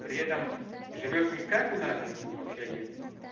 при этом живёт никак у нас живут в общаге